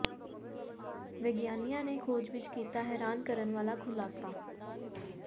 ਵਿਗਿਆਨੀਆਂ ਨੇ ਖੋਜ ਵਿਚ ਕੀਤਾ ਹੈਰਾਨ ਕਰਨ ਵਾਲਾ ਖੁਲਾਸਾ